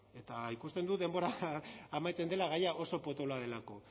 eta ikusten dut denbora amaitzen dela gaia oso potoloa delako